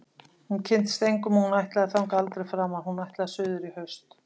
Hún kynntist engum og hún ætlaði þangað aldrei framar- hún ætlaði suður í haust.